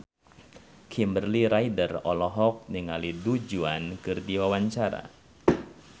Kimberly Ryder olohok ningali Du Juan keur diwawancara